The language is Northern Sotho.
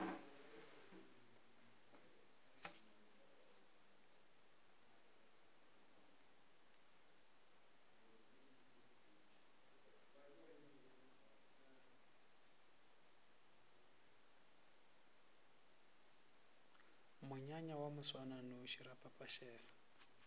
monyanya wa moswananoši ra phaphasela